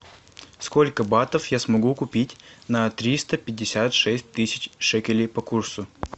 сколько батов я смогу купить на триста пятьдесят шесть тысяч шекелей по курсу